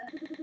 Já takk.